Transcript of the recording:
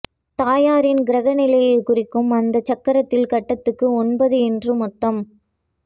தாயாரின் கிரக நிலையைக் குறிக்கும் அந்தச் சக்கரத்தில் கட்டத்துக்கு ஒன்பது என்று மொத்தம்